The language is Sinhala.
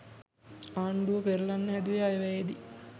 ආණ්ඩුව පෙරලන්න හැදුවේ අයවැයේදි.